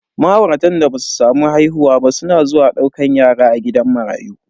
Ma'auratan da basu samu haihuwa ba suna zuwa daukan yara a gidan marayu.